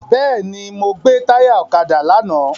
Bẹ́ẹ̀ni, mo gbè táyà ọ̀kadà lánàá.